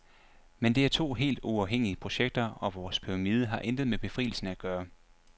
Men det er to helt uafhængige projekter, og vores pyramide har intet med befrielsen at gøre.